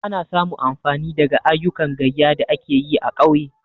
Ana samu amfani daga ayyukan gayya da ake yi a ƙauye.